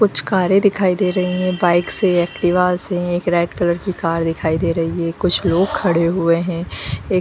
कुछ कारे दिखाई दे रहे है बाइक से एक्टिवा से एक रेड कलर की कार दिखाई दे रही है कुछ लोग खड़े हुए हैं एक --